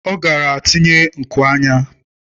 Ọ gara tinye nku anya.